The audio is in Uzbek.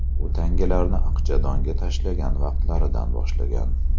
U tangalarni aqchadonga tashlagan vaqtlardan boshlangan.